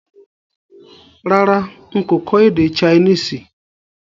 Rárá n kò kọ́ èdè Chinese